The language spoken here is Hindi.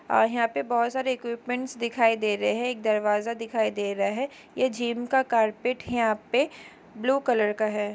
और यहाँ पे बहोत सारे इक्विपमेंटस दिखाई दे रहे हैं एक दरवाजा दिखाई दे रहा है यह जीम का कार्पेट है यहाँ पे ब्लू कलर का है।